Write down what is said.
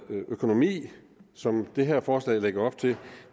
økonomi sådan det her forslag lægger op til